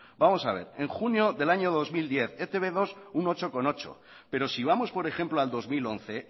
vamos a ver en junio del año dos mil diez e te be dos un ocho coma ocho pero si vamos por ejemplo al dos mil once